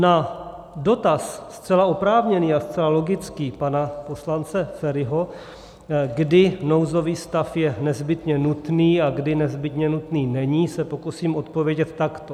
Na dotaz - zcela oprávněný a zcela logický - pana poslance Feriho, kdy nouzový stav je nezbytně nutný a kdy nezbytně nutný není, se pokusím odpovědět takto.